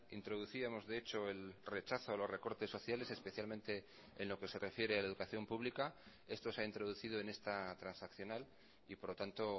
introducíamos de hecho el rechazo a los recortes sociales especialmente en lo que se refiere a la educación pública esto se ha introducido en esta transaccional y por lo tanto